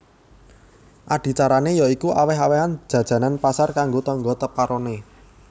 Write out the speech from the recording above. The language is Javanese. Adicarané ya iku awèh awèhan jajanan pasar kanggo tangga teparoné